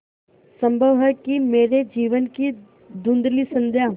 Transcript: संभव है कि मेरे जीवन की धँुधली संध्या